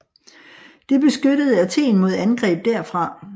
Det beskyttede Athen mod angreb derfra